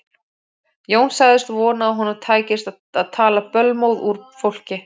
Jón sagðist vona að honum tækist að tala bölmóð úr fólki.